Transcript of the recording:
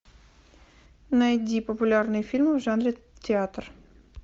найди популярные фильмы в жанре театр